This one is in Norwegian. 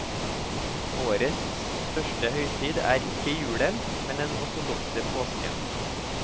Årets største høytid er ikke julen, men den ortodokse påsken.